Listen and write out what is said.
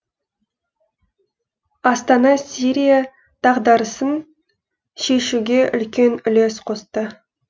астана сирия дағдарысын шешуге үлкен үлес қосты